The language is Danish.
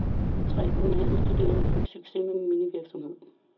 Tre unge handelsstuderende fik succes med minivirksomhed.